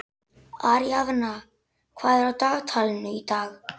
Aríaðna, hvað er á dagatalinu í dag?